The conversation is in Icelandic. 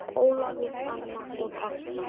Ólafur, Anna og Ásta.